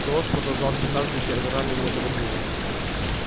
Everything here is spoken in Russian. голос продолжал всё так же театрально и неторопливо